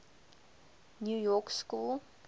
new york school